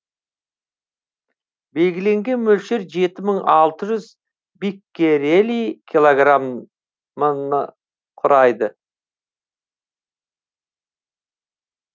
белгіленген мөлшер жеті мың алты жүз биккерели килограмм құрайды